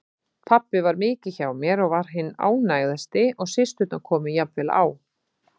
Pabbi var mikið hjá mér og var hinn ánægðasti og systurnar komu jafnvel á